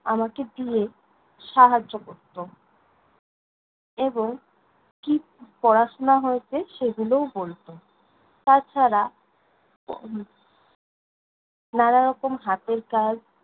আমাকে দিয়ে সাহায্য করতো এবং কী পড়াশোনা হয়েছে সেগুলোও বলতো। তা ছাড়া, নানারকম হাতের কাজ